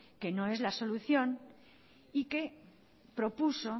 que no es la solución y que propuso